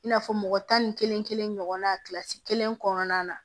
I n'a fɔ mɔgɔ tan ni kelen kelen ɲɔgɔnna kilasi kelen kɔnɔna na